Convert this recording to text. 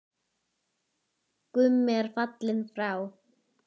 Gummi er fallinn frá.